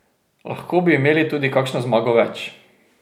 Lahko bi imeli tudi kakšno zmago več.